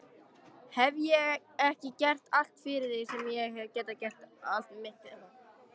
Hef ég ekki gert allt fyrir þig sem ég hef getað allt mitt líf?